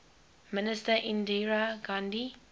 minister indira gandhi